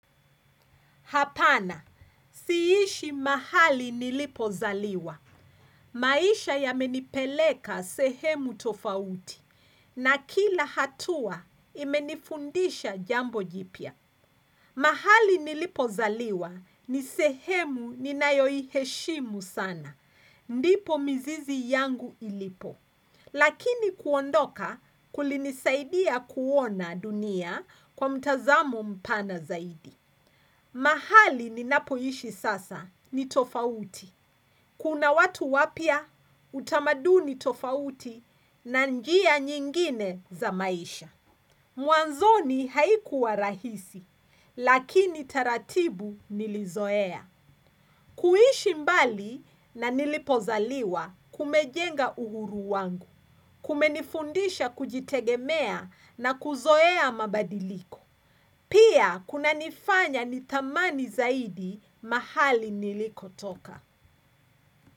Hapana, siishi mahali nilipo zaliwa, maisha yamenipeleka sehemu tofauti, na kila hatua imenifundisha jambo jipya. Mahali nilipo zaliwa, ni sehemu ninayoiheshimu sana, ndipo mizizi yangu ilipo. Lakini kuondoka kulinisaidia kuona dunia kwa mtazamo mpana zaidi. Mahali ninapoishi sasa ni tofauti. Kuna watu wapya utamaduni tofauti na njia nyingine za maisha. Mwanzoni haikuwa rahisi, lakini taratibu nilizoea. Kuishi mbali na nilipozaliwa kumejenga uhuru wangu, kumenifundisha kujitegemea na kuzoea mabadiliko. Pia kunanifanya nithamani zaidi mahali niliko toka.